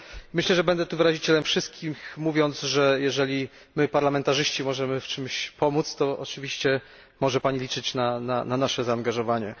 Myślę, że będę tutaj wyrazicielem wszystkich, mówiąc, że jeżeli my parlamentarzyści możemy w czymś pomóc, to oczywiście może Pani liczyć na nasze zaangażowanie.